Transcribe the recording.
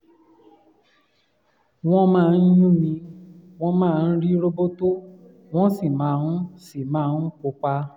wọ́n máa ń yún mi wọ́n máa ń rí roboto wọ́n sì máa sì máa ń pupa